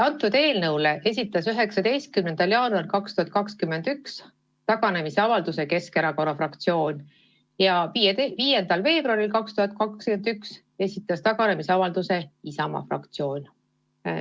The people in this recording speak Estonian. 19. jaanuaril 2021 esitas sellest eelnõust taganemise avalduse Keskerakonna fraktsioon ja 5. veebruaril 2021 esitas taganemisavalduse ka Isamaa fraktsioon.